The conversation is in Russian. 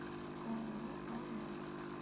ооо алмас